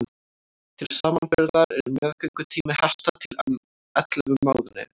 til samanburðar er meðgöngutími hesta um ellefu mánuðir